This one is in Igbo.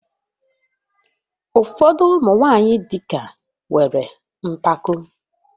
Ụfọdụ ụmụ nwanyị dị ka nwere mpako